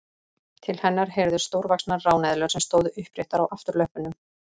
Til hennar heyrðu stórvaxnar ráneðlur sem stóðu uppréttar á afturlöppunum.